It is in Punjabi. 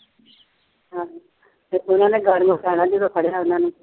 ਹਾਂਜੀ ਇੱਕ ਉਹਨਾ ਨੇ ਗਰਮ ਜਦੋਂ ਫੜਿਆ ਉਹਨਾ ਨੇ